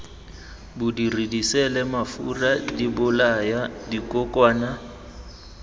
bodiri diseele mafura dibolaya dikokwana